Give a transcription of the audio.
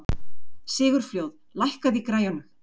Sigurfljóð, lækkaðu í græjunum.